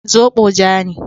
Zobo ja ne.